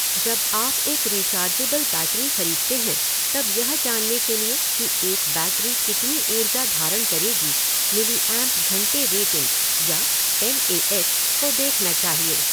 जब आप एक रिचार्जेबल बैटरी खरीदते हैं तब यह जानने के लिए कि एक बैटरी कितनी ऊर्जा धारण करेगी, मिलीऐम्प घंटे रेटिंग या एम ए एच को देखना चाहिए।